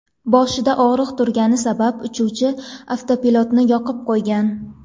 Boshida og‘riq turgani sabab uchuvchi avtopilotni yoqib qo‘ygan.